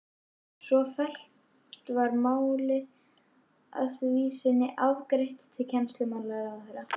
Svo fellt var málið að því sinni afgreitt til kennslumálaráðherra.